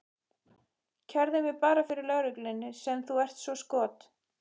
Kærðu mig bara fyrir löggunni sem þú ert svo skot